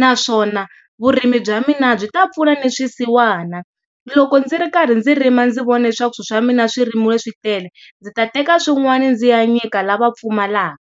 naswona vurimi bya mina byi ta pfuna ni swisiwana loko ndzi ri karhi ndzi rima ndzi vona leswaku swi swa mina swirimiwe swi tele ndzi ta teka swin'wana ndzi ya nyika lava va pfumalaka.